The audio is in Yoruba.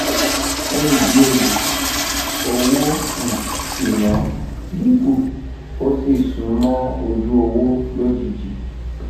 fún ìdí èyíowó um ìná dínkù ó sì sún mó ojú owó lójijì